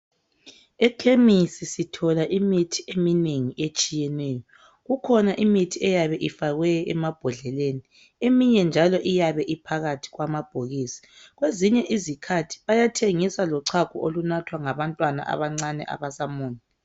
Ekhemisi sithola imithi eminengi etshiyeneyo. Kukhona imithi eyabe ifakwe emabhodleleni, eminye njalo iyabe iphakathi kwamabhokisi. Kwezinye izikhathi bayathengisa lochago olunathwa ngabantwana abancane abasamunya.